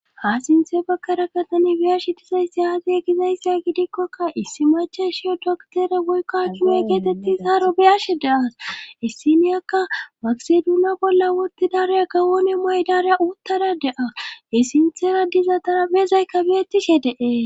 ha sinthe baggaraka tani biyashi disayssi aze gizayssya gidikkokka issi macha shiyo doktere boykka kime keetetti saaro beyashe daas essiniyakka makseduuna bolla woti daraya gawoone muaydaareya uttada de7a he sinthera diza xaraphezayka aeettishe de'es